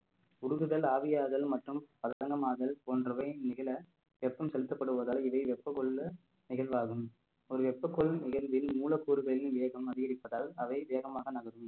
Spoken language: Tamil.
உருகுதல் ஆவியாதல் மற்றும் போன்றவை நிகழ வெப்பம் செலுத்தப்படுவதால் இதை வெப்ப கொள்ள நிகழ்வாகும் ஒரு வெப்ப கொள் நிகழ்வில் மூலக்கூறுகளின் வேகம் அதிகரிப்பதால் அவை வேகமாக நகரும்